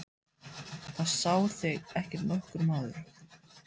Það sá þig ekki nokkur maður!